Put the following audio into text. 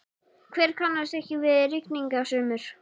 Hver kannast ekki við rigningasumur?